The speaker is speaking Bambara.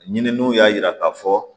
Ɲininiw y'a yira k'a fɔ